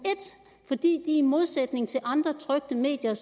fordi de i modsætning til andre trykte medier